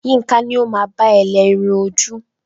Yinka ni o máa bá ẹ lẹ irun ojú.